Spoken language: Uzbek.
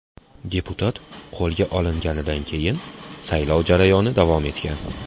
Deputat qo‘lga olinganidan keyin saylov jarayoni davom etgan.